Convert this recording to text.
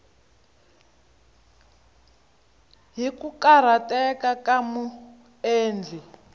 hi ku karhateka ka muendli